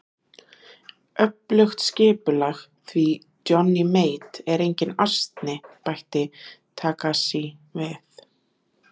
Öflugt skipulag, því Johnny Mate er enginn asni, bætti Herra Takashi við.